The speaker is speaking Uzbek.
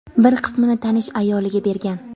bir qismini tanish ayoliga bergan.